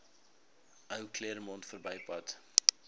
ou claremont verbypad